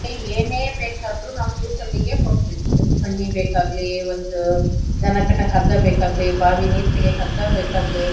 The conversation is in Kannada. ಏನೇ ಬೇಕಾದ್ರೂ ನಾವ್ ತೀರ್ಥಹಳ್ಳಿಗೆ ಹೋಗ್ಬೇಕು ಒಂದ್ ಕಣ್ಣಿ ಬೆಕಾಗ್ಲಿ ಒಂದ್ ಧನ ಕಟ್ಟಕ್ ಹಗ್ಗ ಬೆಕಾಗ್ಲಿಬಾವಿ ನೀರ್ ತಗ್ಯಕ್ ಹಗ್ಗ ಬೆಕಾಗ್ಲಿ--